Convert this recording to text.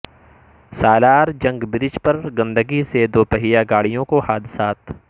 سالار جنگ برج پر گندگی سے دوپہئیہ گاڑیوں کو حادثات